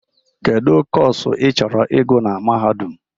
Kedu Kọsu ịchọrọ ịgụ na Mahadum?